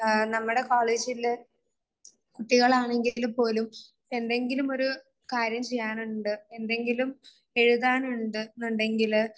നമ്മുടെ നമ്മുടെ കോളേജിലെ കുട്ടികളാണെങ്കിലും പോലും എന്തെങ്കിലും ഒരു കാര്യം ചെയ്യാനുണ്ട് എന്തെങ്കിലും എഴുതാൻ ഉണ്ട് എന്നുണ്ടെങ്കിൽ